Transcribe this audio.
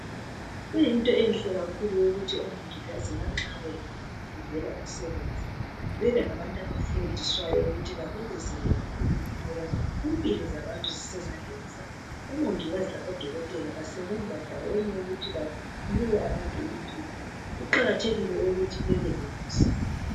Kuyinto enhle kakhulu eyokuthi omongikazi lanxa befundela umsebenzi, bebe ngabantu abafundiswayo ukuthi babekeze kakhulu., ngoba impilo zabantu zisezandleni zabo. Omongikazi labodokotela banika abantu impilo. Kuqakathekile ukuthi babe lomusa.